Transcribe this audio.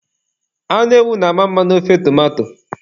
Anụ ewu na-ama mma n'ofe tomato.